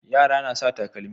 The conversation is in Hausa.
Yara na sa takalmi.